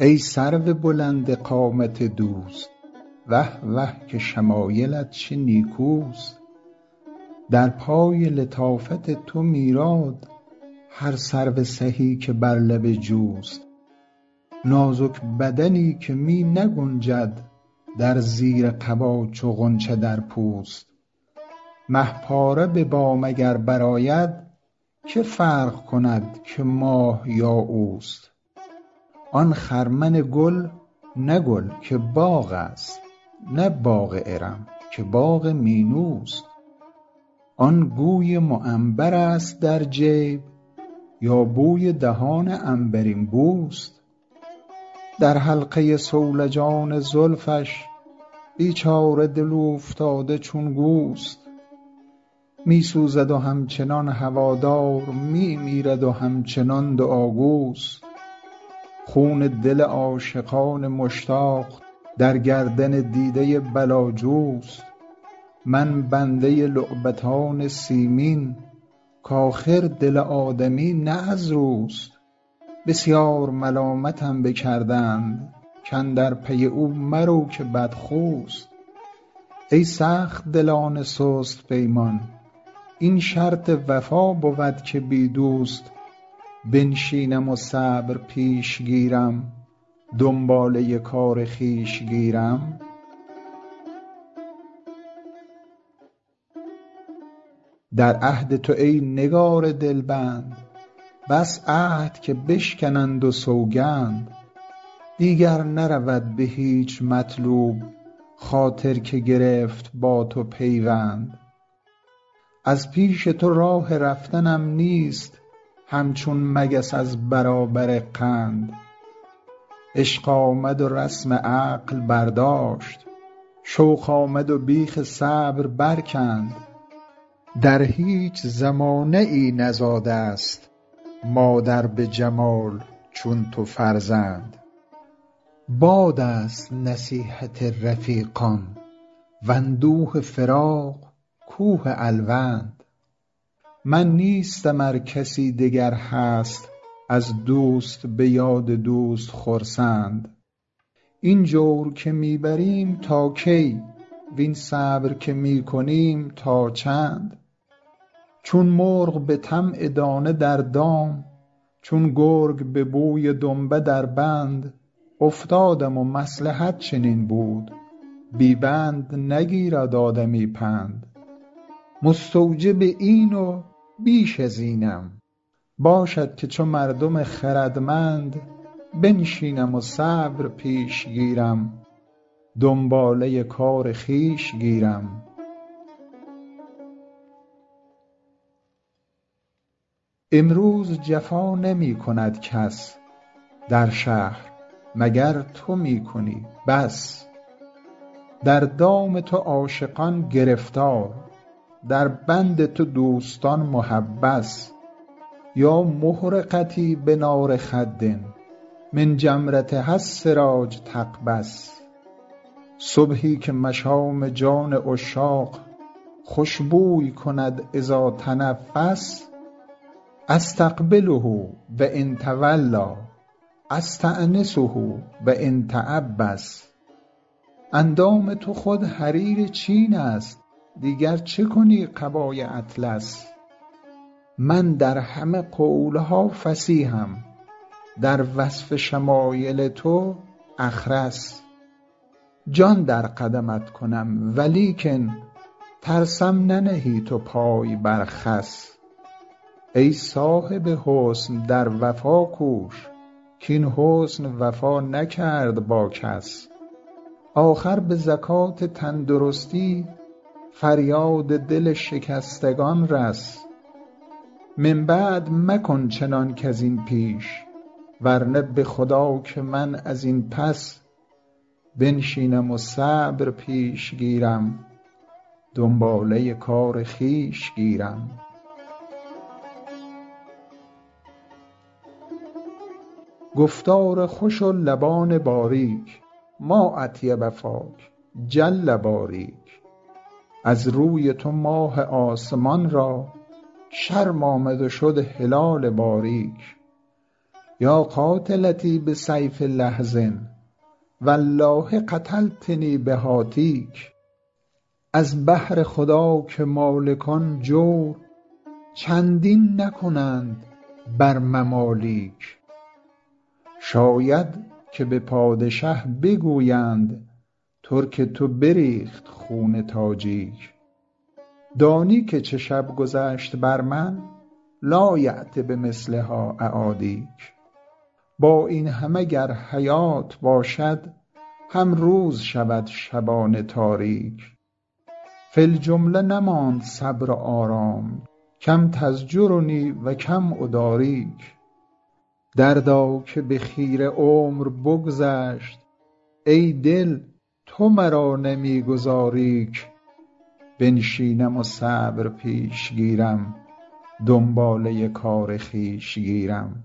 ای سرو بلند قامت دوست وه وه که شمایلت چه نیکوست در پای لطافت تو میراد هر سرو سهی که بر لب جوست نازک بدنی که می نگنجد در زیر قبا چو غنچه در پوست مه پاره به بام اگر برآید که فرق کند که ماه یا اوست آن خرمن گل نه گل که باغ است نه باغ ارم که باغ مینوست آن گوی معنبرست در جیب یا بوی دهان عنبرین بوست در حلقه صولجان زلفش بیچاره دل اوفتاده چون گوست می سوزد و همچنان هوادار می میرد و همچنان دعاگوست خون دل عاشقان مشتاق در گردن دیده بلاجوست من بنده لعبتان سیمین کآخر دل آدمی نه از روست بسیار ملامتم بکردند کاندر پی او مرو که بدخوست ای سخت دلان سست پیمان این شرط وفا بود که بی دوست بنشینم و صبر پیش گیرم دنباله کار خویش گیرم در عهد تو ای نگار دلبند بس عهد که بشکنند و سوگند دیگر نرود به هیچ مطلوب خاطر که گرفت با تو پیوند از پیش تو راه رفتنم نیست همچون مگس از برابر قند عشق آمد و رسم عقل برداشت شوق آمد و بیخ صبر برکند در هیچ زمانه ای نزاده ست مادر به جمال چون تو فرزند باد است نصیحت رفیقان واندوه فراق کوه الوند من نیستم ار کسی دگر هست از دوست به یاد دوست خرسند این جور که می بریم تا کی وین صبر که می کنیم تا چند چون مرغ به طمع دانه در دام چون گرگ به بوی دنبه در بند افتادم و مصلحت چنین بود بی بند نگیرد آدمی پند مستوجب این و بیش از اینم باشد که چو مردم خردمند بنشینم و صبر پیش گیرم دنباله کار خویش گیرم امروز جفا نمی کند کس در شهر مگر تو می کنی بس در دام تو عاشقان گرفتار در بند تو دوستان محبس یا محرقتي بنار خد من جمرتها السراج تقبس صبحی که مشام جان عشاق خوش بوی کند إذا تنفس أستقبله و إن تولیٰ أستأنسه و إن تعبس اندام تو خود حریر چین است دیگر چه کنی قبای اطلس من در همه قول ها فصیحم در وصف شمایل تو أخرس جان در قدمت کنم ولیکن ترسم ننهی تو پای بر خس ای صاحب حسن در وفا کوش کاین حسن وفا نکرد با کس آخر به زکات تندرستی فریاد دل شکستگان رس من بعد مکن چنان کز این پیش ورنه به خدا که من از این پس بنشینم و صبر پیش گیرم دنباله کار خویش گیرم گفتار خوش و لبان باریک ما أطیب فاک جل باریک از روی تو ماه آسمان را شرم آمد و شد هلال باریک یا قاتلتی بسیف لحظ والله قتلتنی بهاتیک از بهر خدا که مالکان جور چندین نکنند بر ممالیک شاید که به پادشه بگویند ترک تو بریخت خون تاجیک دانی که چه شب گذشت بر من لایأت بمثلها أعادیک با این همه گر حیات باشد هم روز شود شبان تاریک فی الجمله نماند صبر و آرام کم تزجرنی و کم أداریک دردا که به خیره عمر بگذشت ای دل تو مرا نمی گذاری ک بنشینم و صبر پیش گیرم دنباله کار خویش گیرم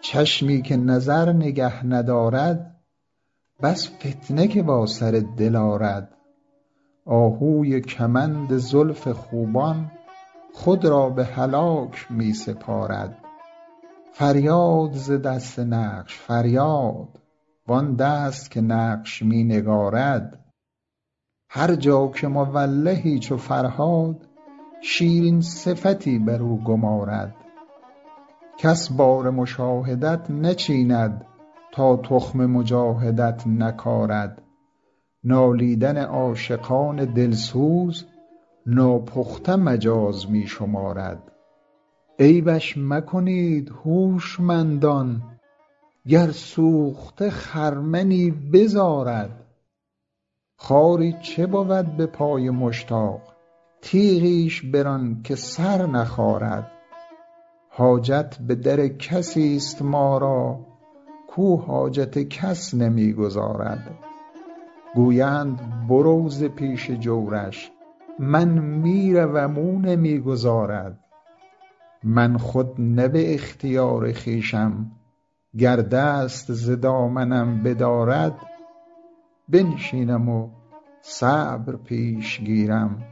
چشمی که نظر نگه ندارد بس فتنه که با سر دل آرد آهوی کمند زلف خوبان خود را به هلاک می سپارد فریاد ز دست نقش فریاد وآن دست که نقش می نگارد هر جا که مولهی چو فرهاد شیرین صفتی برو گمارد کس بار مشاهدت نچیند تا تخم مجاهدت نکارد نالیدن عاشقان دل سوز ناپخته مجاز می شمارد عیبش مکنید هوشمندان گر سوخته خرمنی بزارد خاری چه بود به پای مشتاق تیغیش بران که سر نخارد حاجت به در کسی ست ما را کاو حاجت کس نمی گزارد گویند برو ز پیش جورش من می روم او نمی گذارد من خود نه به اختیار خویشم گر دست ز دامنم بدارد بنشینم و صبر پیش گیرم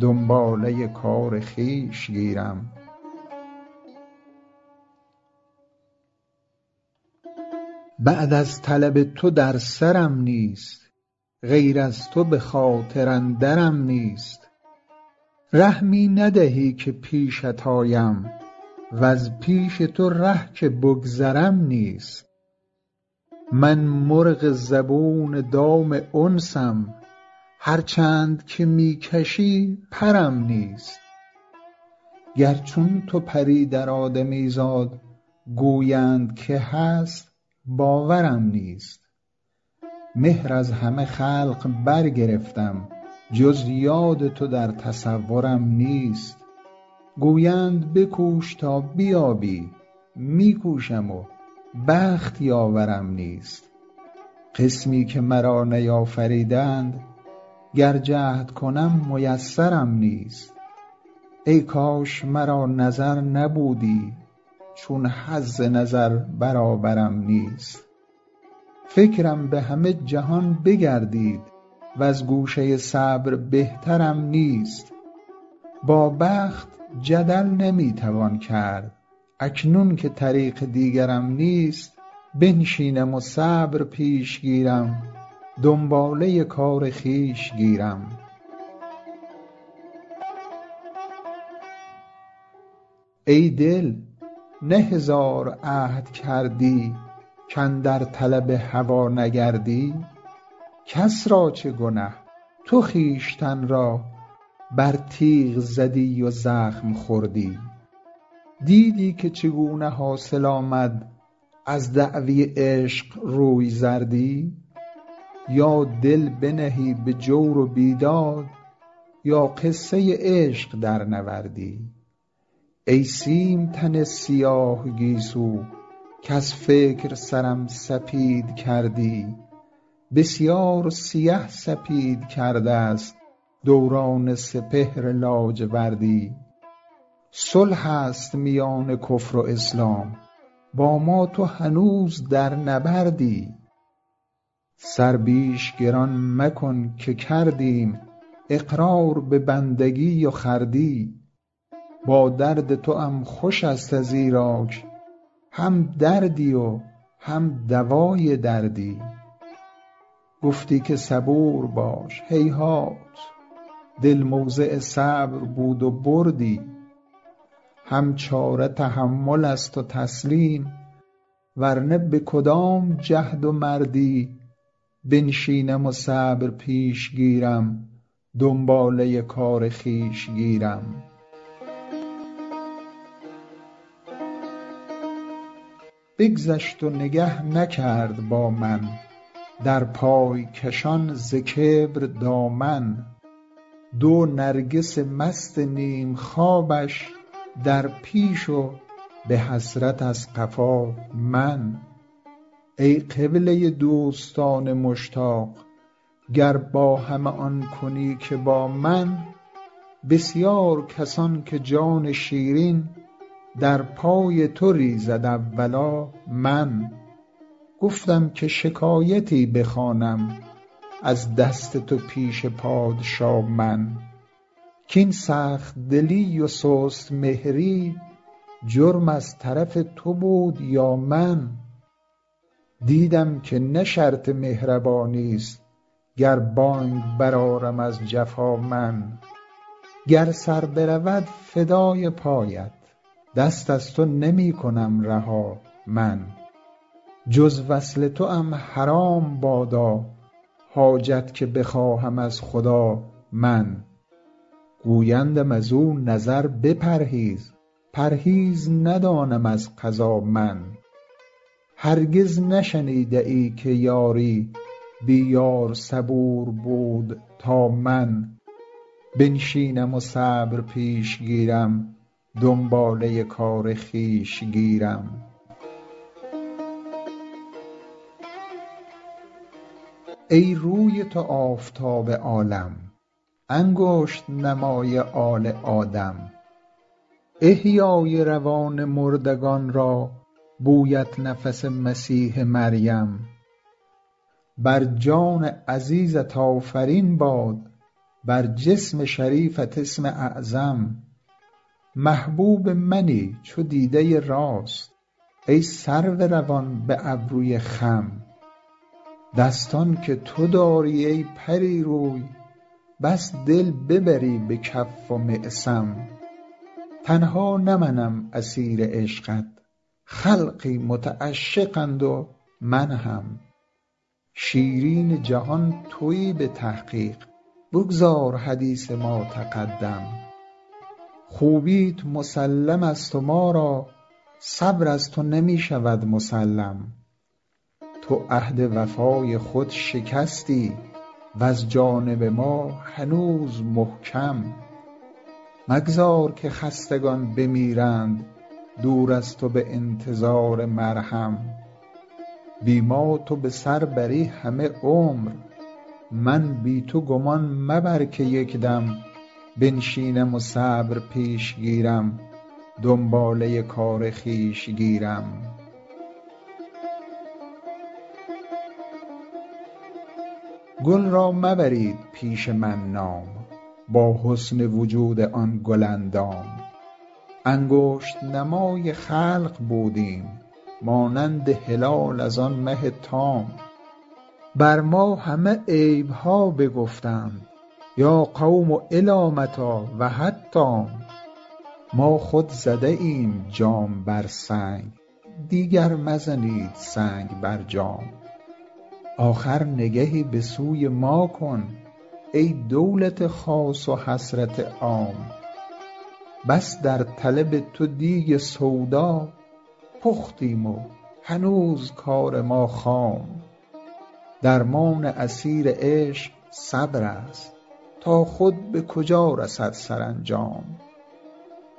دنباله کار خویش گیرم بعد از طلب تو در سرم نیست غیر از تو به خاطر اندرم نیست ره می ندهی که پیشت آیم وز پیش تو ره که بگذرم نیست من مرغ زبون دام انسم هر چند که می کشی پرم نیست گر چون تو پری در آدمیزاد گویند که هست باورم نیست مهر از همه خلق برگرفتم جز یاد تو در تصورم نیست گویند بکوش تا بیابی می کوشم و بخت یاورم نیست قسمی که مرا نیافریدند گر جهد کنم میسرم نیست ای کاش مرا نظر نبودی چون حظ نظر برابرم نیست فکرم به همه جهان بگردید وز گوشه صبر بهترم نیست با بخت جدل نمی توان کرد اکنون که طریق دیگرم نیست بنشینم و صبر پیش گیرم دنباله کار خویش گیرم ای دل نه هزار عهد کردی کاندر طلب هوا نگردی کس را چه گنه تو خویشتن را بر تیغ زدی و زخم خوردی دیدی که چگونه حاصل آمد از دعوی عشق روی زردی یا دل بنهی به جور و بیداد یا قصه عشق درنوردی ای سیم تن سیاه گیسو کز فکر سرم سپید کردی بسیار سیه سپید کرده ست دوران سپهر لاجوردی صلح است میان کفر و اسلام با ما تو هنوز در نبردی سر بیش گران مکن که کردیم اقرار به بندگی و خردی با درد توام خوش ست ازیراک هم دردی و هم دوای دردی گفتی که صبور باش هیهات دل موضع صبر بود و بردی هم چاره تحمل است و تسلیم ورنه به کدام جهد و مردی بنشینم و صبر پیش گیرم دنباله کار خویش گیرم بگذشت و نگه نکرد با من در پای کشان ز کبر دامن دو نرگس مست نیم خوابش در پیش و به حسرت از قفا من ای قبله دوستان مشتاق گر با همه آن کنی که با من بسیار کسان که جان شیرین در پای تو ریزد اولا من گفتم که شکایتی بخوانم از دست تو پیش پادشا من کاین سخت دلی و سست مهری جرم از طرف تو بود یا من دیدم که نه شرط مهربانی ست گر بانگ برآرم از جفا من گر سر برود فدای پایت دست از تو نمی کنم رها من جز وصل توام حرام بادا حاجت که بخواهم از خدا من گویندم ازو نظر بپرهیز پرهیز ندانم از قضا من هرگز نشنیده ای که یاری بی یار صبور بود تا من بنشینم و صبر پیش گیرم دنباله کار خویش گیرم ای روی تو آفتاب عالم انگشت نمای آل آدم احیای روان مردگان را بویت نفس مسیح مریم بر جان عزیزت آفرین باد بر جسم شریفت اسم اعظم محبوب منی چو دیده راست ای سرو روان به ابروی خم دستان که تو داری ای پری روی بس دل ببری به کف و معصم تنها نه منم اسیر عشقت خلقی متعشقند و من هم شیرین جهان تویی به تحقیق بگذار حدیث ما تقدم خوبیت مسلم ست و ما را صبر از تو نمی شود مسلم تو عهد وفای خود شکستی وز جانب ما هنوز محکم مگذار که خستگان بمیرند دور از تو به انتظار مرهم بی ما تو به سر بری همه عمر من بی تو گمان مبر که یک دم بنشینم و صبر پیش گیرم دنباله کار خویش گیرم گل را مبرید پیش من نام با حسن وجود آن گل اندام انگشت نمای خلق بودیم مانند هلال از آن مه تام بر ما همه عیب ها بگفتند یا قوم إلی متیٰ و حتام ما خود زده ایم جام بر سنگ دیگر مزنید سنگ بر جام آخر نگهی به سوی ما کن ای دولت خاص و حسرت عام بس در طلب تو دیگ سودا پختیم و هنوز کار ما خام درمان اسیر عشق صبرست تا خود به کجا رسد سرانجام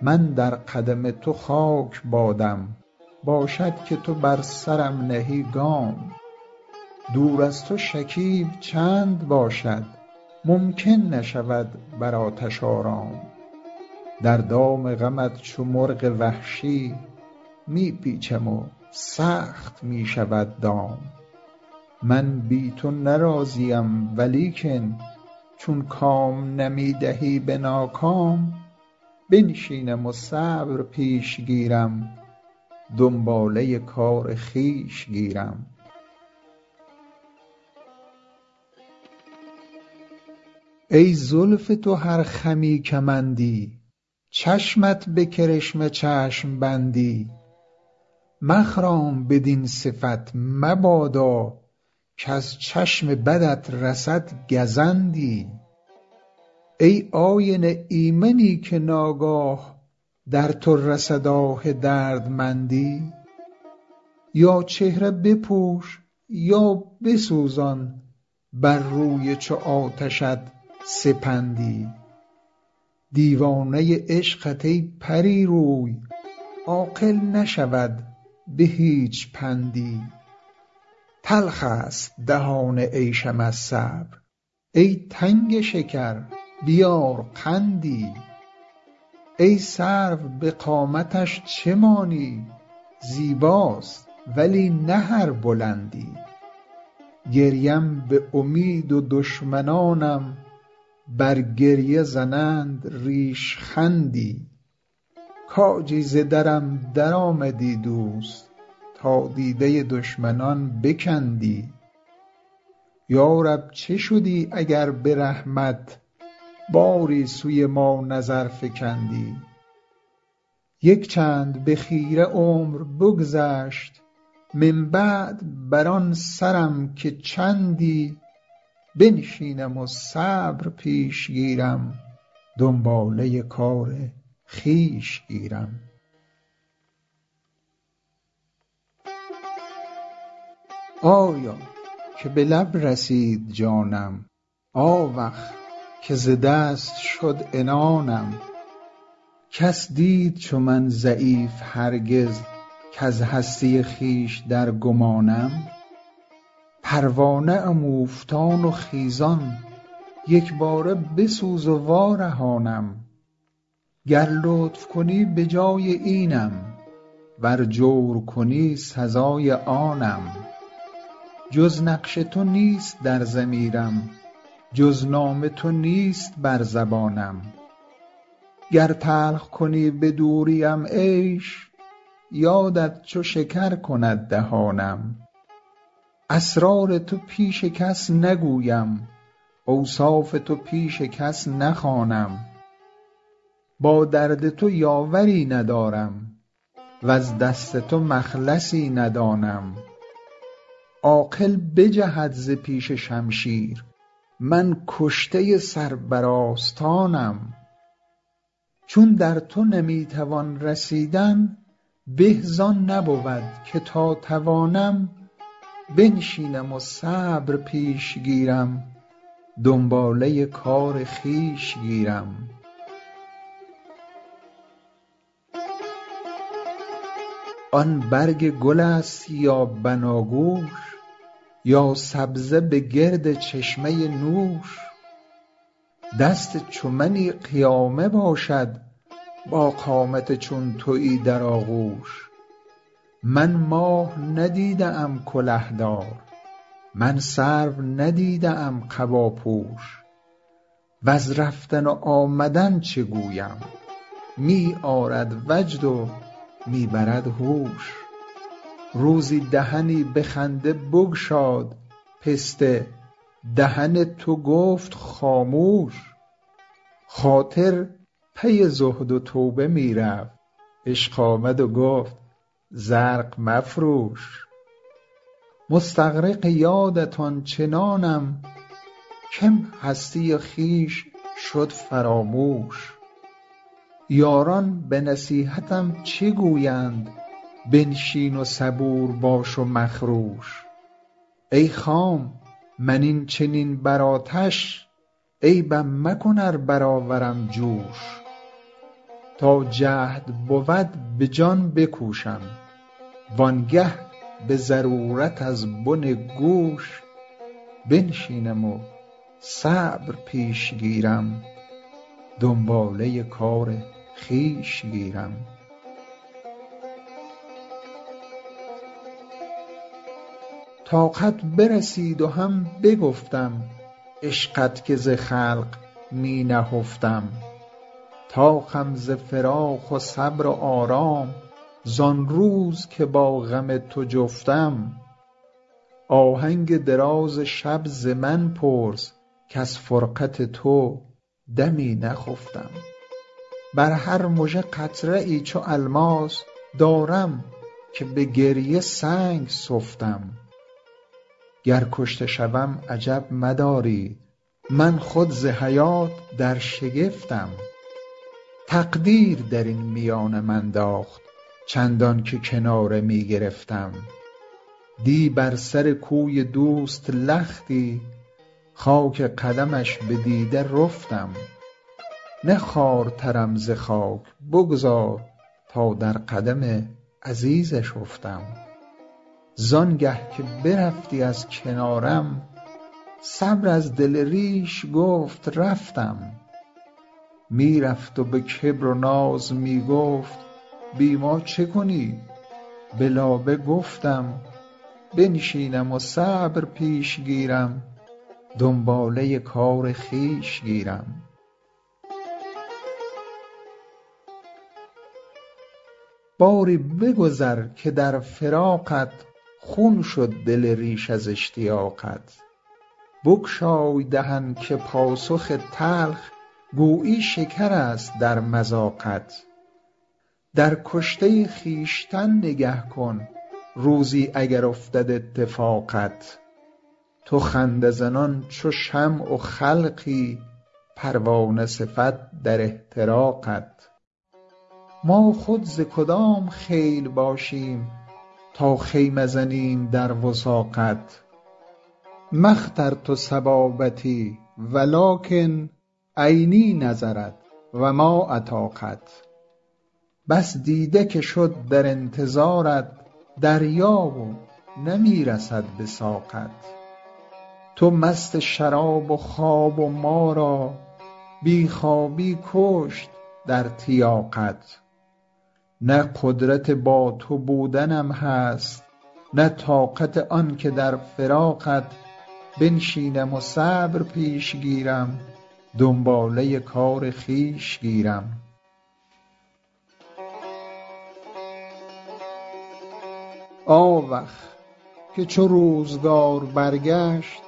من در قدم تو خاک بادم باشد که تو بر سرم نهی گام دور از تو شکیب چند باشد ممکن نشود بر آتش آرام در دام غمت چو مرغ وحشی می پیچم و سخت می شود دام من بی تو نه راضیم ولیکن چون کام نمی دهی به ناکام بنشینم و صبر پیش گیرم دنباله کار خویش گیرم ای زلف تو هر خمی کمندی چشمت به کرشمه چشم بندی مخرام بدین صفت مبادا کز چشم بدت رسد گزندی ای آینه ایمنی که ناگاه در تو رسد آه دردمندی یا چهره بپوش یا بسوزان بر روی چو آتشت سپندی دیوانه عشقت ای پری روی عاقل نشود به هیچ پندی تلخ ست دهان عیشم از صبر ای تنگ شکر بیار قندی ای سرو به قامتش چه مانی زیباست ولی نه هر بلندی گریم به امید و دشمنانم بر گریه زنند ریشخندی کاجی ز درم درآمدی دوست تا دیده دشمنان بکندی یا رب چه شدی اگر به رحمت باری سوی ما نظر فکندی یک چند به خیره عمر بگذشت من بعد بر آن سرم که چندی بنشینم و صبر پیش گیرم دنباله کار خویش گیرم آیا که به لب رسید جانم آوخ که ز دست شد عنانم کس دید چو من ضعیف هرگز کز هستی خویش در گمانم پروانه ام اوفتان و خیزان یک باره بسوز و وارهانم گر لطف کنی به جای اینم ور جور کنی سزای آنم جز نقش تو نیست در ضمیرم جز نام تو نیست بر زبانم گر تلخ کنی به دوریم عیش یادت چو شکر کند دهانم اسرار تو پیش کس نگویم اوصاف تو پیش کس نخوانم با درد تو یاوری ندارم وز دست تو مخلصی ندانم عاقل بجهد ز پیش شمشیر من کشته سر بر آستانم چون در تو نمی توان رسیدن به زآن نبود که تا توانم بنشینم و صبر پیش گیرم دنباله کار خویش گیرم آن برگ گل ست یا بناگوش یا سبزه به گرد چشمه نوش دست چو منی قیامه باشد با قامت چون تویی در آغوش من ماه ندیده ام کله دار من سرو ندیده ام قباپوش وز رفتن و آمدن چه گویم می آرد وجد و می برد هوش روزی دهنی به خنده بگشاد پسته دهن تو گفت خاموش خاطر پی زهد و توبه می رفت عشق آمد و گفت زرق مفروش مستغرق یادت آن چنانم کم هستی خویش شد فراموش یاران به نصیحتم چه گویند بنشین و صبور باش و مخروش ای خام من این چنین بر آتش عیبم مکن ار برآورم جوش تا جهد بود به جان بکوشم وآن گه به ضرورت از بن گوش بنشینم و صبر پیش گیرم دنباله کار خویش گیرم طاقت برسید و هم بگفتم عشقت که ز خلق می نهفتم طاقم ز فراق و صبر و آرام زآن روز که با غم تو جفتم آهنگ دراز شب ز من پرس کز فرقت تو دمی نخفتم بر هر مژه قطره ای چو الماس دارم که به گریه سنگ سفتم گر کشته شوم عجب مدارید من خود ز حیات در شگفتم تقدیر درین میانم انداخت چندان که کناره می گرفتم دی بر سر کوی دوست لختی خاک قدمش به دیده رفتم نه خوارترم ز خاک بگذار تا در قدم عزیزش افتم زآن گه که برفتی از کنارم صبر از دل ریش گفت رفتم می رفت و به کبر و ناز می گفت بی ما چه کنی به لابه گفتم بنشینم و صبر پیش گیرم دنباله کار خویش گیرم باری بگذر که در فراقت خون شد دل ریش از اشتیاقت بگشای دهن که پاسخ تلخ گویی شکرست در مذاقت در کشته خویشتن نگه کن روزی اگر افتد اتفاقت تو خنده زنان چو شمع و خلقی پروانه صفت در احتراقت ما خود ز کدام خیل باشیم تا خیمه زنیم در وثاقت ما اخترت صبابتی ولکن عینی نظرت و ما اطاقت بس دیده که شد در انتظارت دریا و نمی رسد به ساقت تو مست شراب و خواب و ما را بی خوابی بکشت در تیاقت نه قدرت با تو بودنم هست نه طاقت آن که در فراقت بنشینم و صبر پیش گیرم دنباله کار خویش گیرم آوخ که چو روزگار برگشت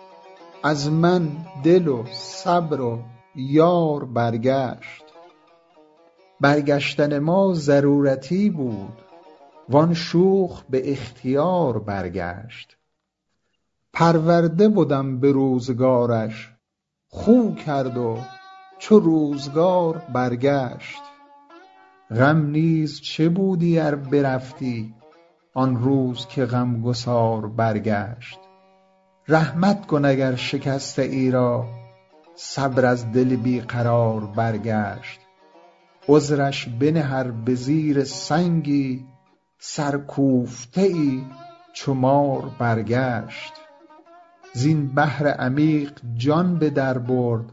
از من دل و صبر و یار برگشت برگشتن ما ضرورتی بود وآن شوخ به اختیار برگشت پرورده بدم به روزگارش خو کرد و چو روزگار برگشت غم نیز چه بودی ار برفتی آن روز که غم گسار برگشت رحمت کن اگر شکسته ای را صبر از دل بی قرار برگشت عذرش بنه ار به زیر سنگی سرکوفته ای چو مار برگشت زین بحر عمیق جان به در برد